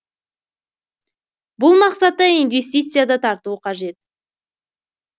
бұл мақсатта инвестиция да тарту қажет